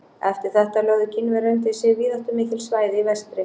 Eftir þetta lögðu Kínverjar undir sig víðáttumikil svæði í vestri.